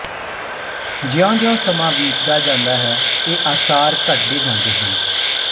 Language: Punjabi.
ਜਿਉਂ ਜਿਉਂ ਸਮਾਂ ਬੀਤਦਾ ਜਾਂਦਾ ਹੈ ਇਹ ਆਸਾਰ ਘਟਦੇ ਜਾਂਦੇ ਹਨ